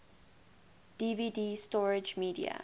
dvd storage media